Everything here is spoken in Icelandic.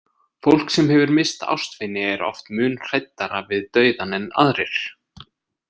Fólk sem hefur misst ástvini er oft mun hræddara við dauðann en aðrir.